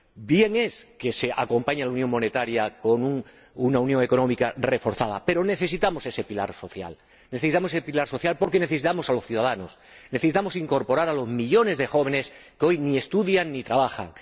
Bien está que se acompañe la unión monetaria con una unión económica reforzada, pero necesitamos ese pilar social. Necesitamos ese pilar social porque necesitamos a los ciudadanos. Necesitamos incorporar a los millones de jóvenes que hoy ni estudian ni trabajan.